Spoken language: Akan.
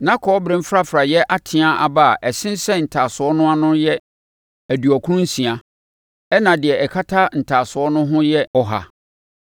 Na Kɔbere mfrafraeɛ ateaa aba a ɛsensɛn ntaasoɔ no ano no yɛ aduɔkron nsia, ɛnna deɛ ɛkata ntaasoɔ no ho yɛ ɔha.